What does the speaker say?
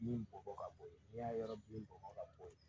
Min bɔnbɔn ka bo ye n'i y'a yɔrɔ min bɔnbɔn ka bo yen